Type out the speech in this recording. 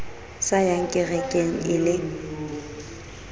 sa yang kerekeng e le